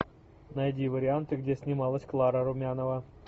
найди варианты где снималась клара румянова